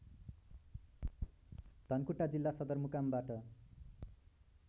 धनकुटा जिल्ला सदरमुकामबाट